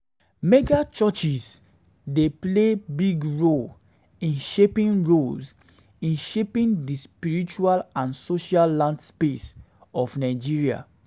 Mega-churches dey play big role in shaping role in shaping di spiritual and social landscape of Nigeria.